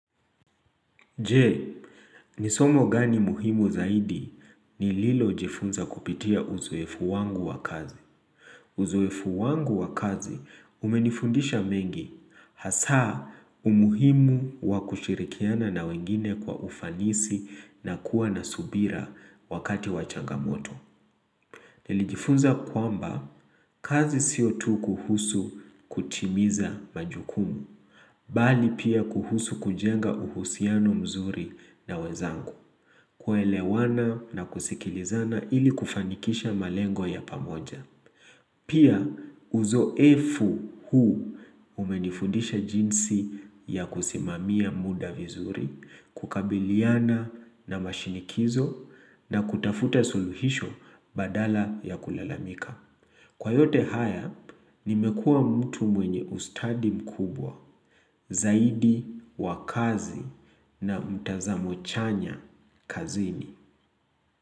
Je, nisomo gani muhimu zaidi nililojifunza kupitia uzoefu wangu wa kazi. Uzoefu wangu wa kazi umenifundisha mengi hasa umuhimu wakushirikiana na wengine kwa ufanisi nakuwa nasubira wakati wachangamoto. Nilijifunza kwamba kazi siotu kuhusu kutimiza majukumu, bali pia kuhusu kujenga uhusiano mzuri na wezangu kuelewana na kusikilizana ili kufanikisha malengo ya pamoja. Pia uzoefu huu umenifundisha jinsi ya kusimamia muda vizuri, kukabiliana na mashinikizo na kutafute suluhisho badala ya kulalamika. Kwa yote haya, nimekuwa mtu mwenye ustadi mkubwa, zaidi, wakazi na mtazamo chanya kazini.